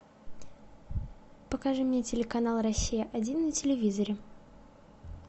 покажи мне телеканал россия один на телевизоре